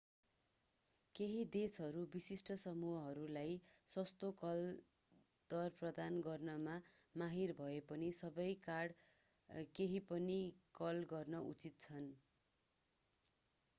केहि देशहरूका विशिष्ट समूहहरूलाई सस्तो कल दर प्रदान गर्नमा माहिर भए पनि सबै कार्ड कहिँपनि कल गर्न उचित छन्